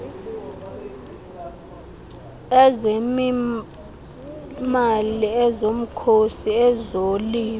ezezimali ezomkhosi ezolimo